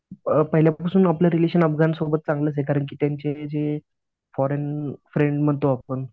अ पहिल्यापासून अफगाण सोबत आपलं रिलेशन चांगलंचं ये कारण की त्यांचे जे फॉरेन फ्रेंड म्हणतो आपण.